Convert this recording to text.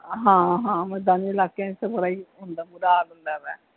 ਹਾਂ ਹਾਂ ਮੈਦਾਨੀ ਇਲਾਕਿਆਂ ਚ ਤਾਂ ਬੜਾ ਹੰਦਾ ਹੈ ਹੁੰਦਾ ਵਾ।